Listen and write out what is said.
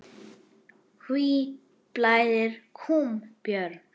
Hví blæðir kúm, Björn?